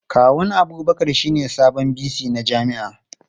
Kawun Abubakar shine sabon VC na jami'ar.